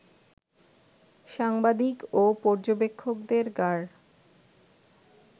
সাংবাদিক ও পর্যবেক্ষকদের গাড়